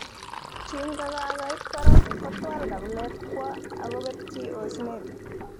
kinkokakoit barak kotwal kabilet kwo okobetyi osnet